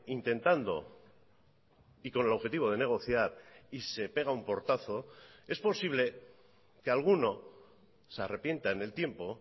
intentando y con el objetivo de negociar y se pega un portazo es posible que alguno se arrepienta en el tiempo